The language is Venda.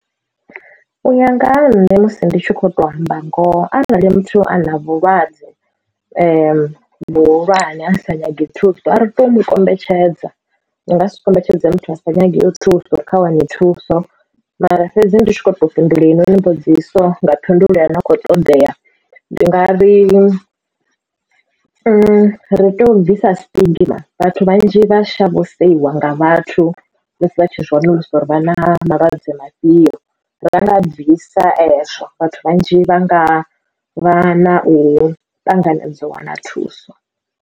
Uya nga ha nṋe musi ndi tshi kho to amba ngoho arali muthu a na vhulwadze vhuhulwane a sa nyagi thuso ari tei umu kombetshedza ri nga si kombetshedza muthu a sa nyagi thuso uri a wane thuso mara fhedzi ndi tshi kho to fhindula hei noni mbudziso nga phindulo i no kho ṱoḓea ndi nga ri ri teo bvisa stigma vhathu vhanzhi vha shavha u seiwa nga vhathu musi vhatshi zwiwanulusa uri vha na malwadze mafhio ra nga bvisa ezwo vhathu vhanzhi vha nga vha na u ṱanganedza u wana thuso.